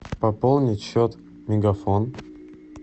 пополнить счет мегафон